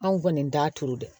Anw kɔni t'a turu dɛ